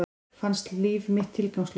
Fannst líf mitt tilgangslaust.